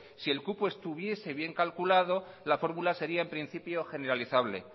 si el cupo estuviese bien calculado la fórmula sería en principio generalizable